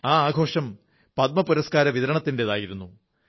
ആ ആഘോഷം പദ്മ പുരസ്കാര വിതരണത്തിന്റേതായിരുന്നു